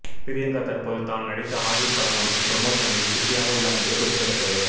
பிரியங்கா தற்போது தான் நடித்த ஹாலிவுட் படம் ஒன்றின் புரமோஷனில் பிசியாக உள்ளார் என்பது குறிப்பிடத்தக்கது